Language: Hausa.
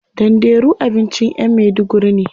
Danderu abincin yan maiduguri ne.